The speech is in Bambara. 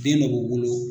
Den dɔ b'u bolo